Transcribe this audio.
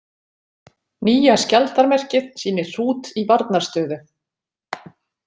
Nýja skjaldarmerkið sýnir hrút í varnarstöðu.